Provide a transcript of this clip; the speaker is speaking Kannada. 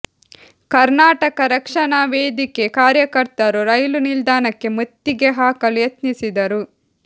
ಕರ್ನಾಟಕ ರಕ್ಷಣಾ ವೇದಿಕೆ ಕಾರ್ಯಕರ್ತರು ರೈಲು ನಿಲ್ದಾಣಕ್ಕೆ ಮುತ್ತಿಗೆ ಹಾಕಲು ಯತ್ನಿಸಿದರು